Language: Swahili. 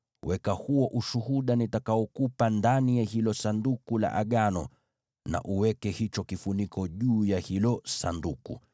Weka huo Ushuhuda nitakaokupa ndani ya hilo Sanduku la Agano, na uweke hicho kifuniko juu ya hilo Sanduku.